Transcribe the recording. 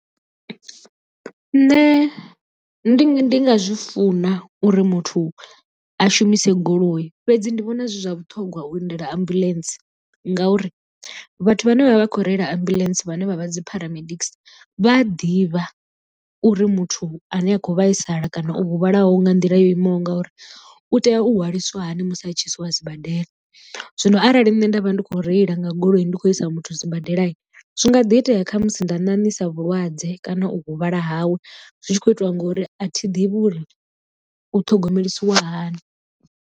Nṋe ndi nga zwi funa uri muthu a shumise goloi fhedzi ndi vhona zwi zwa vhuṱhongwa u lindela ambuḽentse ngauri vhathu vhane vha vha vha khou reila ambuḽentse vhane vha vha dzi paramedics vha a ḓivha uri muthu ane a kho vhaisala kana u huvhalaho nga nḓila yo imaho nga uri u tea u hwaliswa hani musi a tshi i si wa sibadela. Zwino arali nṋe nda vha ndi khou reila nga goloi ndi khou i isa muthu sibadela zwi nga ḓi itea khamusi nda ṋaṋisa vhulwadze kana u huvhala hawe zwi tshi khou itiwa ngori a thi ḓivhi uri u thogomelisiwa hani.